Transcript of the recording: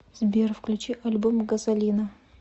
сбер включи альбом газолина